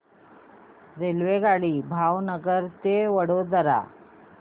रेल्वेगाडी भावनगर ते वडोदरा